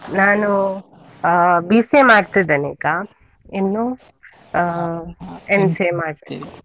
ನಾನು ಅಹ್ BCA ಮಾಡ್ತಿದ್ದೇನೆ ಈಗ, ಇನ್ನು ಅಹ್ MCA ಮಾಡ್ತೇನೆ.